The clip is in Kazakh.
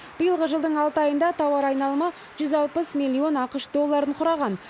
биылғы жылдың алты айында тауар айналымы жүз алпыс миллион ақш долларын құраған